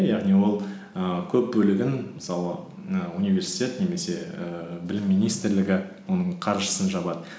яғни ол ііі көп бөлігін мысалы і университет немесе ііі білім министрлігі оның қаржысын жабады